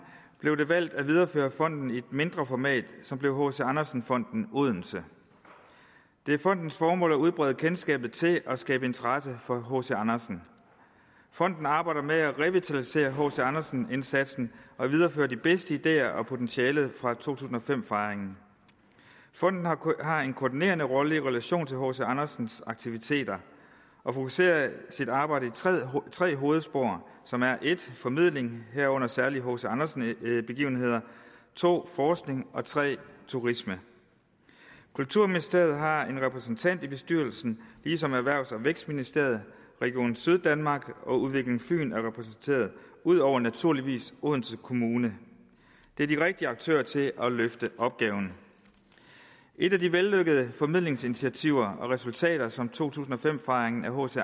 blev det valgt at videreføre fonden i et mindre format som blev hc andersen fonden odense det er fondens formål at udbrede kendskabet til og skabe interesse for hc andersen fonden arbejder med at revitalisere hc andersen indsatsen og videreføre de bedste ideer og potentialet fra to tusind og fem fejringen fonden har en koordinerende rolle i relation til hc andersen aktiviteter og fokuserer sit arbejde i tre hovedspor som er 1 formidling herunder særligt hc andersen begivenheder 2 forskning og 3 turisme kulturministeriet har en repræsentant i bestyrelsen ligesom erhvervs og vækstministeriet region syddanmark og udvikling fyn er repræsenteret ud over naturligvis odense kommune det er de rigtige aktører til at løfte opgaven et af de vellykkede formidlingsinitiativer og resultater som to tusind og fem fejringen af hc